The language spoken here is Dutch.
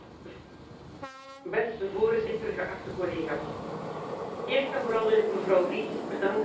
Voorzitter, collega's, eerst en vooral wil ik mevrouw Ries bedanken voor het prachtige resultaat.